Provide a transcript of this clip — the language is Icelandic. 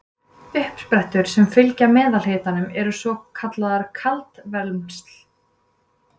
uppsprettur sem fylgja meðalhitanum eru kallaðar kaldavermsl